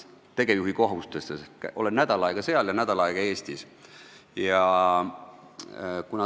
Olen nädal aega seal ja nädal aega Eestis.